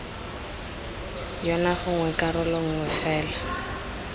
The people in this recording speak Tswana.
yona gongwe karolo nngwe fela